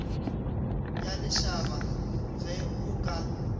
ya lešaba ge o ka